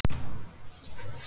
spyr Júlía hvasst.